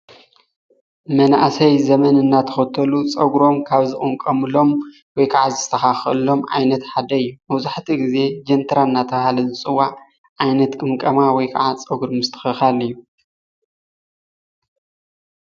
መናእሰይ ዘመን እናተኸተሉ ፀጉሮም ካብ ዝቅምቀምሎም ወይከዓ ዝስተኻኸለሎም ዓይነት ሓደእዩ። መብዛሕትኡ ግዜ ጀንትራ እናተብሃለ ዝፅዋዕ ዓይነት ቅምቀማ ወይከዓ ፀጉሪ ምስትኽኻል እዩ።